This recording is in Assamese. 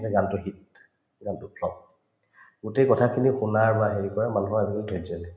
এই গানতো শিক গানটো গোটেই কথাখিনি শুনাৰ বা হেৰি কৰাৰ মানুহৰ আজিকালি ধৈৰ্য্য নাই